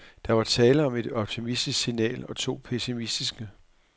Der var tale om et optimistisk signal og to pessimistiske.